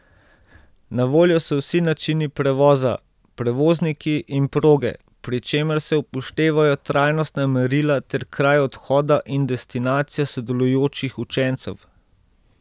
Na voljo so vsi načini prevoza, prevozniki in proge, pri čemer se upoštevajo trajnostna merila ter kraj odhoda in destinacija sodelujočih učencev.